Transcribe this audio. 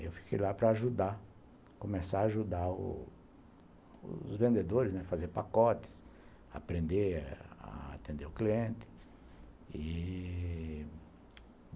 Eu fiquei lá para ajudar, começar a ajudar os vendedores, né, fazer pacotes, aprender a atender o cliente e...